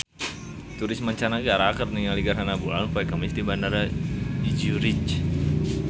Turis mancanagara keur ningali gerhana bulan poe Kemis di Bandara Zurich